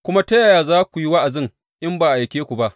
Kuma ta yaya za su yi wa’azi in ba an aike su ba?